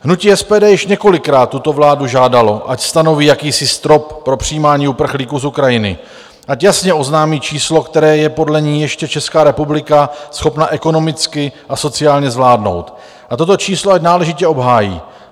Hnutí SPD již několikrát tuto vládu žádalo, ať stanoví jakýsi strop pro přijímání uprchlíků z Ukrajiny, ať jasně oznámí číslo, které je podle ní ještě Česká republika schopna ekonomicky a sociálně zvládnout, a toto číslo ať náležitě obhájí.